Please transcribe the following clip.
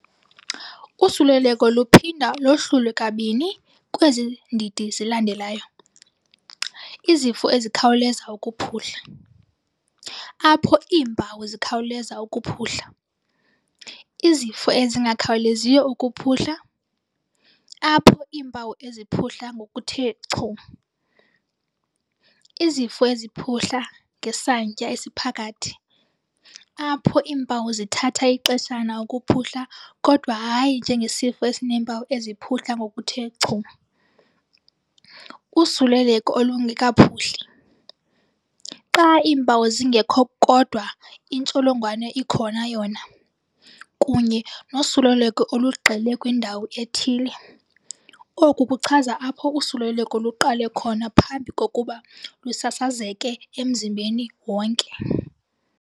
Usuleleko luphinda lohlulwe kabini kwezi ndidi zilandelayo- izifo ezikhawuleza ukuphuhla, apho iimpawu zikhawuleza ukuphuhla, izifo ezingakhawuleziyo ukuphuhla, apho iimpawu ziphuhla ngokuthe chu, izifo eziphuhla ngesantya esiphakathi, apho iimpawu zithatha ixeshana ukuphuhla kodwa hayi njengesifo esineempawu eziphuhla ngokuthe chu, usuleleko olungekaphuhli, xa iimpawu zingekho kodwa intsholongwane ikhona yona, kunye nosuleleko olugxile kwindawo ethile, oku kuchaza apho usuleleko luqale khona phambi kokuba lusasazeke emzimbeni wonke.